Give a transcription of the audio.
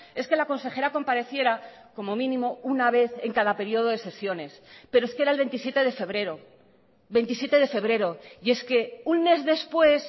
es que la consejera compareciera como mínimo una vez en cada periodo de sesiones pero es que era el veintisiete de febrero veintisiete de febrero y es que un mes después